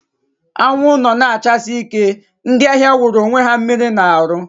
Anwụ nọ na achasi ike, ndị ahịa wụrụ onwe ha mmiri na arụ